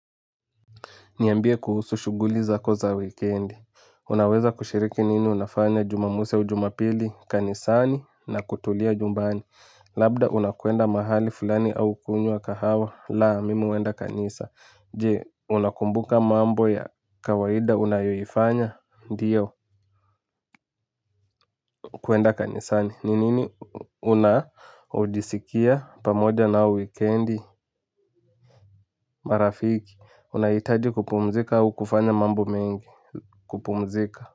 Niambie kuhusu shughuli zako za wikendi. Unaweza kushiriki nini unafanya jumamosi au jumapili kanisani na kutulia nyumbani. Labda unakwenda mahali fulani au kunywa kahawa laa mimi huenda kanisa. Je unakumbuka mambo ya kawaida unayoiifanya ndiyo kwenda kanisani. Ni nini unajisikia pamoja na wikendi marafiki. Unaitaji kupumzika au kufanya mambo mengi kupumzika.